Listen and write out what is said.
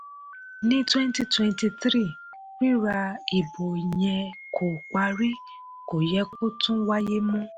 ní twenty twenty three rírà ìbò yẹ kó parí; kò yẹ kó tún wáyé mọ́.